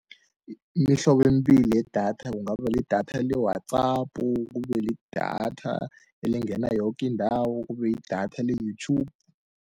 Mihlobo embili yedatha, kungaba lidatha le-WhatsApp, kube lidatha elingena yokindawo, kube yidatha le-YouTube.